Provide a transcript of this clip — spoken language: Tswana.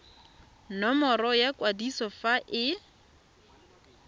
nomoro ya kwadiso fa e